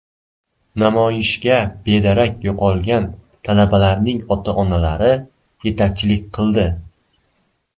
Namoyishga bedarak yo‘qolgan talabalarning ota-onalari yetakchilik qildi.